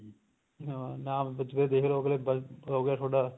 ਹਾਂ ਨਾਮ ਪੁੱਛ ਕੇ ਦੇਖ ਲੋ ਅਗਲੇ ਕਹੋਗੇ ਤੁਹਾਡਾ